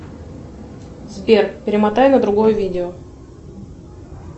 сбер перемотай на другое видео